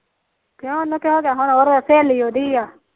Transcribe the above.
ਕਿਉ ਉਹਨੂੰ ਕਿਆ ਹੋ ਗਿਆ ਸਹੇਲੀ ਉਹਦੀ ਆ